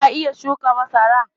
Ka iya shuka masara?